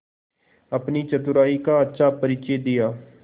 अपनी चतुराई का अच्छा परिचय दिया